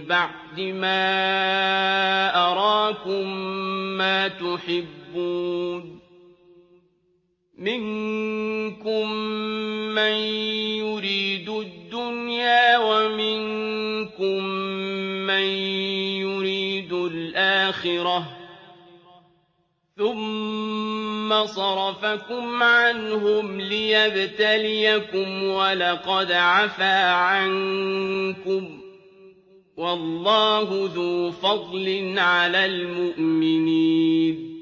بَعْدِ مَا أَرَاكُم مَّا تُحِبُّونَ ۚ مِنكُم مَّن يُرِيدُ الدُّنْيَا وَمِنكُم مَّن يُرِيدُ الْآخِرَةَ ۚ ثُمَّ صَرَفَكُمْ عَنْهُمْ لِيَبْتَلِيَكُمْ ۖ وَلَقَدْ عَفَا عَنكُمْ ۗ وَاللَّهُ ذُو فَضْلٍ عَلَى الْمُؤْمِنِينَ